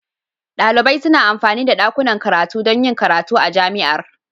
Dalibai suna amfani da dakunan karatu don yin karatu a Jami'ar.